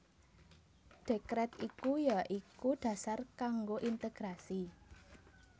Dekret iku ya iku dasar kanggo integrasi